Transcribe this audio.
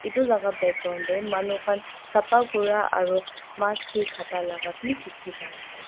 edu laka background tae manu khan sapa Kura aro mas kae kata laka bi dikhipaiase.